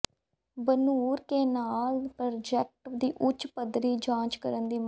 Banur canal project ਦੀ ਉੱਚ ਪੱਧਰੀ ਜਾਂਚ ਕਰਨ ਦੀ ਮੰਗ